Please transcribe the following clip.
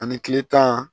Ani kile tan